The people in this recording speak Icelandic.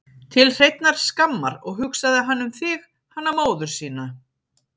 Til hreinnar skammar, og hugsaði hann um þig, hana móður sína?